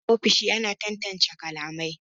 Hira a ofisoshi ana tantance kalamai